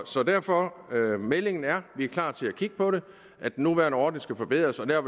så derfor er meldingen at vi er klar til at kigge på det den nuværende ordning skal forbedres og der